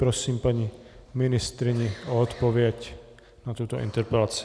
Prosím paní ministryni o odpověď na tuto interpelaci.